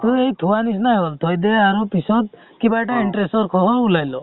থুৱাৰ নিচিনায়ে হল থই দিয়ে আৰু পিছত কিবা এটা interest ৰ সহ উলাই ল